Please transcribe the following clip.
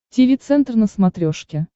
тиви центр на смотрешке